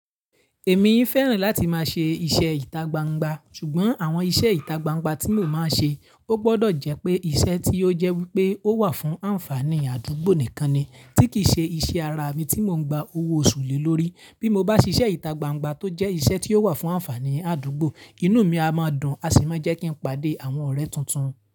Èmi fẹ́ràn láti máa ṣe iṣẹ́ ìtagbangba, ṣùgbọ́n àwọn iṣẹ́ ìtagbangba tí mo máa ṣe, ó gbọdọ̀ jẹ́ pé iṣẹ́ tí ó jẹ́ wípé ó wà fún ànfàaní àdúgbò nìkan ni, tí kì í ṣe iṣẹ́ ara mi tí mò ń gba owó oṣù lé lórí. Bí mo bá ṣe iṣẹ́ ìtagbangba tó jẹ́ iṣẹ́ tí ó wà fún ànfàaní àdúgbò, inú mi a máa dùn, a sì máa jẹ́ kí n pàdé àwọn ọ̀rẹ́ tuntun.